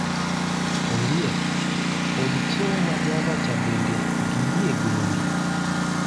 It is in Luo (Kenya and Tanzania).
Ondiek, od chiemo ma java cha bende giyie gowi?